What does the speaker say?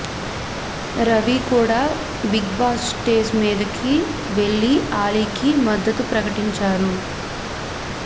రవి కూడా Bigg Boss stage మీదికి వెళ్లి అలీకి మద్దతు ప్రకటించారు